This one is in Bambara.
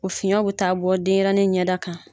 O fiɲɛw bi taa bɔ denyɛrɛnin ɲɛda kan